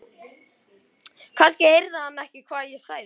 Kannski heyrði hann ekki hvað ég sagði.